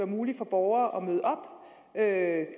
muligt for borgere at